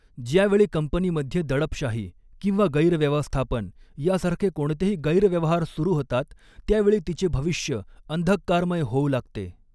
ज्यावेळी कंपनीमध्ये दडपशाही किंवा गैरव्यवस्थापन यासारखे कोणतेही गैरव्यवहार सुरु होतात त्यावेळी तिचे भविष्य अंधःकारमय होऊ लागते.